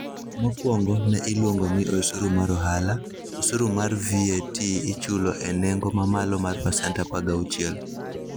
Mokwongo ne iluongo ni osuru mar ohala, osuru mar VAT ichulo e nengo mamalo mar pasent 16.